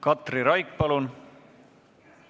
Katri Raik, palun!